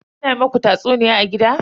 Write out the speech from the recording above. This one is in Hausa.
Ana muku tatsuniya a gida?